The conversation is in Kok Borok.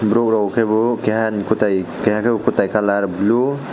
borok rok kebo keha ni kwtai kalar blue.